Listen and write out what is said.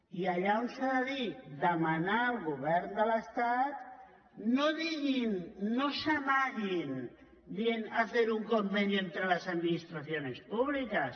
i allà on s’ha de dir demanar al govern de l’estat no diguin no s’amaguin dient hacer un convenio entre las administraciones públicas